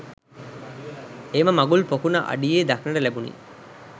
එම මගුල් පොකුණ අඩියේ දක්නට ලැබුණි.